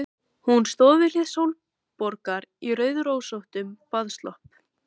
Hún stóð við hlið Sólborgar í rauðrósóttum baðslopp.